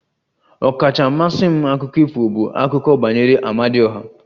Ọkacha mmasị m akụkọ ifo bụ akụkọ banyere Amadioha